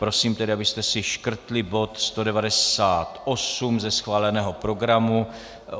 Prosím tedy, abyste si škrtli bod 198 ze schváleného programu.